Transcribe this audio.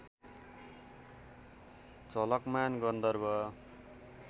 Jhalakman Gandharva